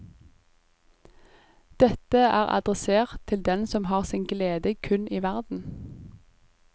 Dette er adressert til den som har sin glede kun i verden.